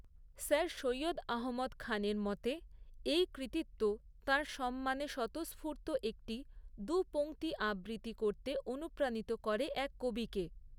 Sir Syed Ahmad খানের মতে, এই কৃতিত্ব তাঁর সম্মানে স্বতঃস্ফূর্ত একটি দু'পংক্তি আবৃত্তি করতে অনুপ্রাণিত করে এক কবিকে।